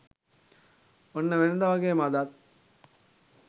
ඔන්න වෙනද වගේම අදත්